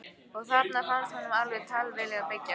Og þarna fannst honum alveg tilvalið að byggja.